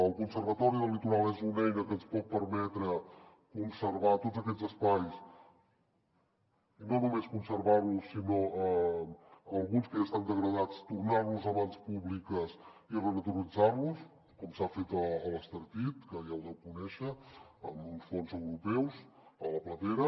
el conservatori del litoral és una eina que ens pot permetre conservar tots aquests espais i no només conservar los sinó alguns que ja estan degradats tornar los a mans públiques i renaturalitzar los com s’ha fet a l’estartit que ja ho deu conèixer amb uns fons europeus a la platera